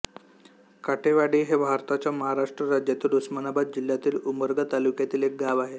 काटेवाडी हे भारताच्या महाराष्ट्र राज्यातील उस्मानाबाद जिल्ह्यातील उमरगा तालुक्यातील एक गाव आहे